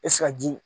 ji